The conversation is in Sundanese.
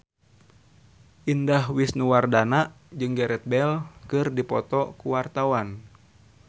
Indah Wisnuwardana jeung Gareth Bale keur dipoto ku wartawan